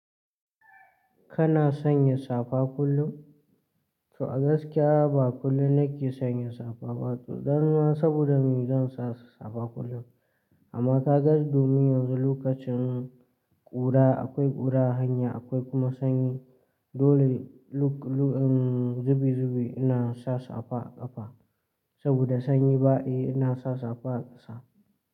Kana sanya safa kullum? To a gaskiya ba kullum nake sanya safa ba, tsudani saboda me zan sa safa kullum. Amma ka ga domin yanzu lokacin ƙura akwai ƙura hanya akwai kuma sanyi, dole luk-luk zubi zubi ina sa safa ƙafa saboda sanyi ba yi ina sa safa ƙasa.